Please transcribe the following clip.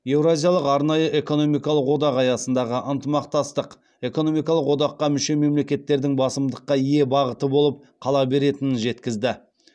еуразиялық арнайы экономикалық одақ аясындағы ынтымақтастық экономикалық одаққа мүше мемлекеттердің басымдыққа ие бағыты болып қала беретінін жеткізді